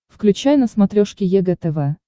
включай на смотрешке егэ тв